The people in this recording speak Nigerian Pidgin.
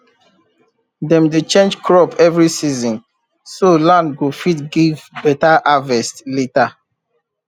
dem dey change crop every season so land go fit give better harvest later